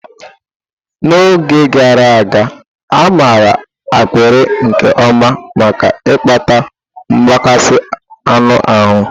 N'oge gara aga, a maara ákpịrị nke ọma maka ịkpata mgbakasị anụ ahụ.